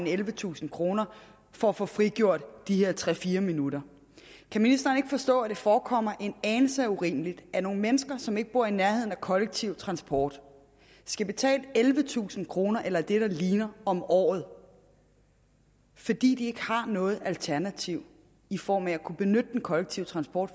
af ellevetusind kroner for at få frigjort de her tre fire minutter kan ministeren ikke forstå at det forekommer en anelse urimeligt at nogle mennesker som ikke bor i nærheden af kollektiv transport skal betale ellevetusind kroner eller det der ligner om året fordi de ikke har noget alternativ i form af at kunne benytte den kollektive transport